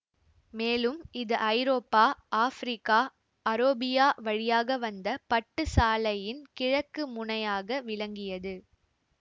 மேலும் இது ஐரோப்பா ஆப்பிரிக்கா அரோபியா வழியாக வந்த பட்டுச் சாலையின் கிழக்கு முனையாக விளங்கியது